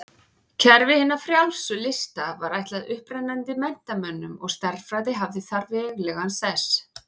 Kerfi hinna frjálsu lista var ætlað upprennandi menntamönnum og stærðfræði hafði þar veglegan sess.